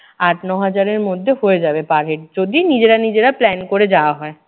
আট ন হাজারে মধ্যে হয়ে যাবে per head যদি নিজেরা নিজেরা plan করে যাওয়া হয়।